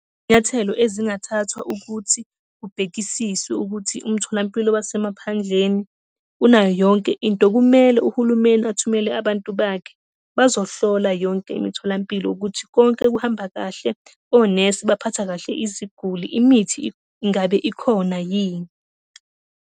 Nyathelo ezingathathwa ukuthi kubhekisiswe ukuthi umtholampilo wasemaphandleni unayo yonke into, kumele uhulumeni athumele abantu bakhe bazohlola yonke imitholampilo ukuthi konke kuhamba kahle. Onesi baphatha kahle iziguli, imithi ngabe ikhona yini.